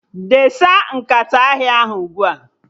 Desa nkata ahịa ahụ ugbua!